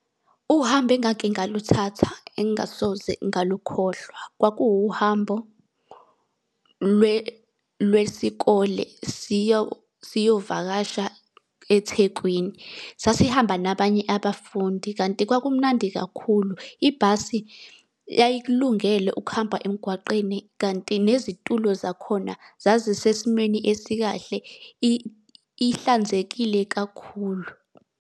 Uhambo engake ngaluthatha engingasoze ngalukhohlwa, kwakuwuhambo lwesikole siyovakasha eThekwini. Sasihamba nabanye abafundi, kanti kwakumnandi kakhulu. Ibhasi yayikulungele ukuhamba emgwaqeni, kanti nezitulo zakhona zazisesimweni esikahle ihlanzekile kakhulu.